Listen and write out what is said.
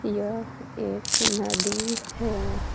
यह एक नदी है।